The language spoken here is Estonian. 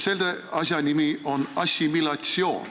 Selle asja nimi on assimilatsioon.